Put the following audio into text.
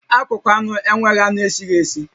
Akụkụ anụ enweghị anụ esighi esi